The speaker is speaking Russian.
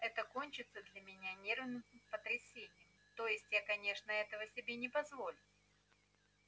это кончится для меня нервным потрясением то есть я конечно этого себе не позволю